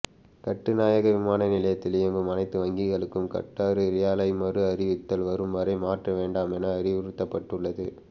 கட்டுநாயக்க விமானநிலையத்தில் இயங்கும் அனைத்து வங்கிகளுக்கும் கட்டார் ரியாலை மறு அறிவித்தல் வரும் வரை மாற்றவேண்டாமென அறிவுறுத்தப்பட்டுள்ளது